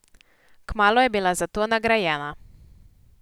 Kmalu je bila za to nagrajena.